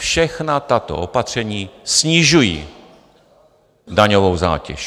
Všechna tato opatření snižují daňovou zátěž.